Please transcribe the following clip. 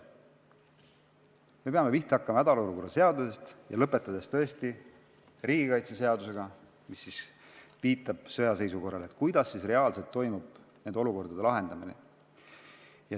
Me peame pihta hakkama hädaolukorra seadusest ja lõpetama riigikaitseseadusega, mis viitab sõjaseisukorrale, ja vaatama üle, kuidas reaalselt toimub nende olukordade lahendamine.